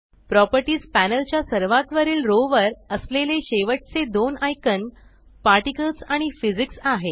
properties panel च्या सर्वात वरील रो वर असलेले शेवटचे दोन आयकॉन पार्टिकल्स आणि फिजिक्स आहेत